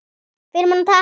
Filmuna takk!